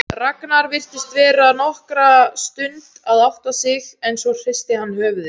Ragnar virtist vera nokkra stund að átta sig en svo hristi hann höfuðið.